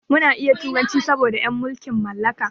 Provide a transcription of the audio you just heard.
Muna iya turanci saboda en mulkin mallaka.